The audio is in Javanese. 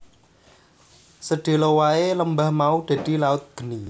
Sedhela wae lembah mau dadi laut geni